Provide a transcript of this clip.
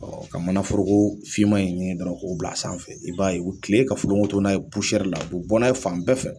Ɔ ka mana foro ko finma in ɲini dɔrɔn bila sanfɛ, i b'a ye u bɛ tile ka folonkoto pusɛri la n'a ye fan bɛɛ fɛ;